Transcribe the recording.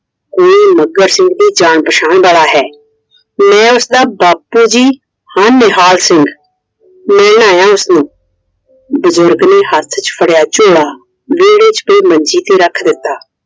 ਇਹ ਮੱਘਰ ਸਿੰਘ ਦੇ ਜਾਣ ਪਛਾਣ ਵਾਲਾ ਹੈ Iਮੈਂ ਉਸਦਾ ਬਾਪੂ ਜੀ ਹਾਂ ਨਿਹਾਲ ਸਿੰਘ ਮਿਲਣ ਆਇਆ ਹਾਂ ਉਸਨੂੰ I ਬਜ਼ੁਰਗ ਨੇ ਹੱਥ ਚ ਫੜਿਆ ਝੋਲਾ ਵੇਹੜੇ ਚ ਪਈ ਮੰਜੀ ਤੇ ਰੱਖ ਦਿੱਤਾ I